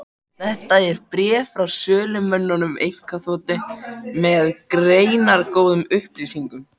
Þetta er bréf frá sölumönnum einkaþotu, með greinargóðum upplýsingum.